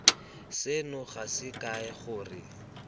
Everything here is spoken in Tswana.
seno ga se kae gore